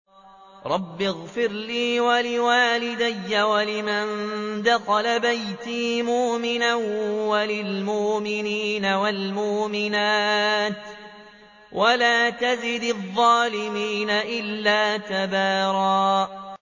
رَّبِّ اغْفِرْ لِي وَلِوَالِدَيَّ وَلِمَن دَخَلَ بَيْتِيَ مُؤْمِنًا وَلِلْمُؤْمِنِينَ وَالْمُؤْمِنَاتِ وَلَا تَزِدِ الظَّالِمِينَ إِلَّا تَبَارًا